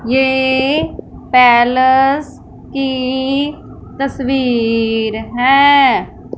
ये पैलस की तस्वीर है।